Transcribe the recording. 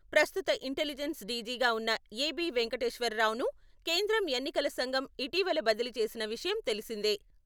ప్రస్తుత ఇంటిలిజెన్స్ డీజీగా ఉన్న ఏబీ వెంకటేశ్వరరావును కేంద్రం ఎన్నికల సంఘం ఇటీవల బదిలీ చేసిన విషయం తెలిసిందే.